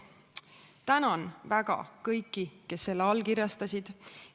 Tänan väga kõiki, kes selle allkirjastasid!